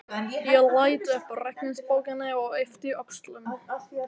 Ég leit upp úr reikningsbókinni, yppti öxlum.